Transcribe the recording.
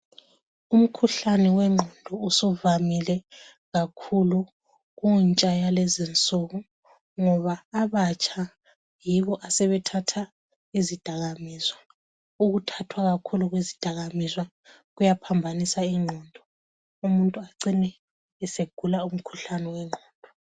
Umkhuhlane wengqondo usuvamile kakhulu kuntsha yalezinsuku ngoba abatsha yibo asebethatha izidakamiswa ,ukuthathwa kakhulu kwezidakamizwa kuyaphambanisa ingqondo umuntu acine esegula umkhuhlane wengqondo.